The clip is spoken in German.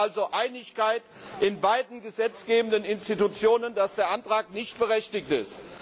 Es herrscht also Einigkeit in beiden gesetzgebenden Institutionen, dass der Antrag nicht berechtigt ist.